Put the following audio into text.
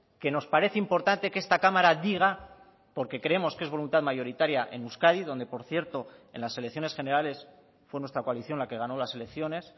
que nos parece importante que esta cámara diga porque creemos que es voluntad mayoritaria en euskadi donde por cierto en las elecciones generales fue nuestra coalición la que ganó las elecciones